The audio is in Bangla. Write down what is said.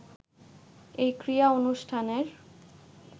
এই ক্রীড়া অনুষ্ঠানের